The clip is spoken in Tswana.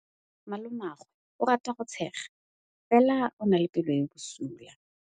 Malomagwe o rata go tshega fela o na le pelo e e bosula.